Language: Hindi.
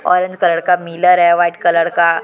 ऑरेंज कलर का मिलर है वाइट कलर का--